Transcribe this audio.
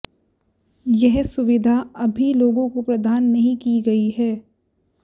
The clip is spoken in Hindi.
यह सुविधा अभी लोगों को प्रदान नहीं की गई है